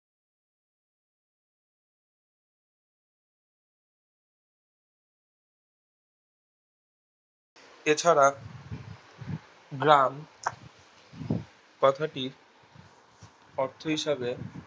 এছাড়া গ্রাম কথাটির অর্থ হিসাবে